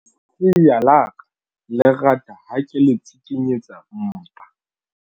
Lesea la ka le rata ha ke le tsikinyetsa mpa.